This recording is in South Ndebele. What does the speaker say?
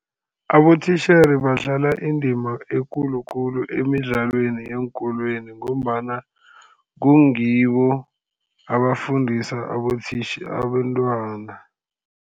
Abotitjhere badlala indima ekulu khulu emidlalweni yeenkolweni, ngombana kungibo abafundisa abentwana.